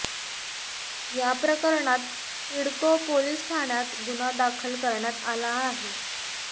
या प्रकरणात सिडको पोलिस ठाण्यात गुन्हा दाखल करण्यात आला आहे